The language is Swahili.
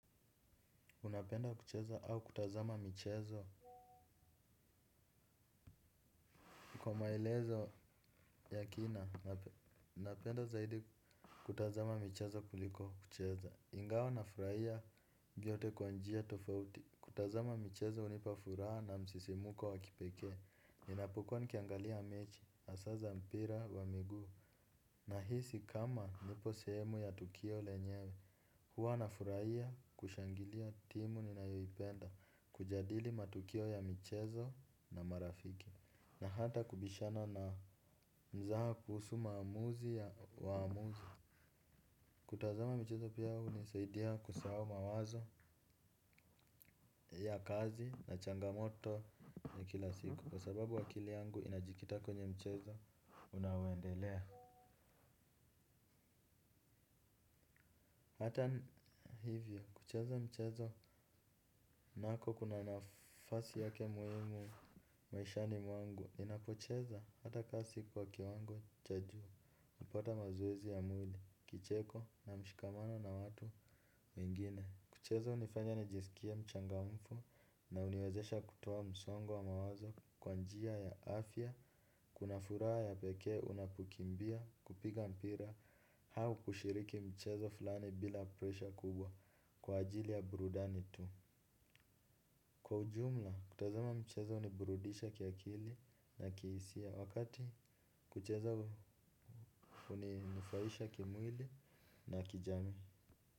Unapenda kucheza au kutazama michezo. Kwa maelezo ya kina napenda zaidi kutazama michezo kuliko kucheza. Ingawa na furahia vyote kwa njia tofauti. Kutazama michezo unipa furaha na msisimko wakipeke e ninapokua nikiangalia mechi hasa za mpira wa miguu. Nahisi kama nipo sehemu ya tukio lenyewe. Huwa na furahia kushangilia timu ninayoipenda. Kujadili matukio ya michezo na marafiki. Na hata kubishana na mzaha kuhusu maamuzi ya waamuzi. Kutazama mchezo pia hunisaidia kusahau mawazo ya kazi na changamoto ya kila siku. Kwa sababu akili yangu inajikita kwenye mchezo unaoendelea. Hata hivyo kucheza mchezo nako kuna nafasi yake muhimu maishani mwangu. Ninapocheza hata kama si kwa kiwango cha juu hupata mazoezi ya mwili, kicheko na mshikamano na watu mwingine. Kucheza hunifanya nijisikie mchangamfu na uniwezesha kutoa msongo wa mawazo kwanjia ya afya. Kuna furaha ya peke unapokimbia, kupiga mpira, au kushiriki mchezo fulani bila presha kubwa kwa ajili ya burudani tu. Kwa ujumla, kutazama mchezo uniburudisha kiakili na kiisia wakati kucheza unifurahisha kimwili na kijamii.